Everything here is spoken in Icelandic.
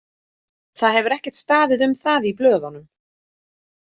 Það hefur ekkert staðið um það í blöðunum.